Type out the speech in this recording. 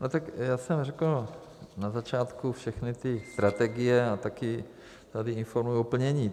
No tak, já jsem řekl na začátku všechny ty strategie a taky tady informuji o plnění.